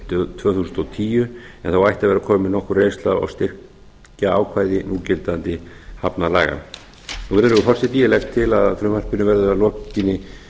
árið tvö þúsund og tíu en þá ætti að vera komin nokkur reynsla á og styrkjaákvæði núgildandi hafnalaga virðulegur forseti ég legg til að frumvarpinu verði að lokinni